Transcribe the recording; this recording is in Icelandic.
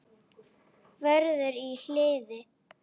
Vörður í hliðið.